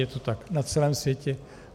Je to tak na celém světě.